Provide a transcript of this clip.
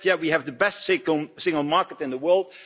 You said yes, we have the best single market in the world'.